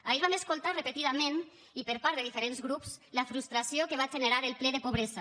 ahir vam escoltar repetidament i per part de diferents grups la frustració que va generar el ple de pobresa